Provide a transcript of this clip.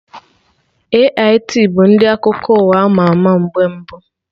AIT bụ ndị akụkọ ụwa ama ama mgbe mbụ